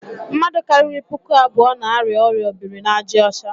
Mmadụ karịrị puku abụọ n'arịa ọrịa obirinaàjàọcha.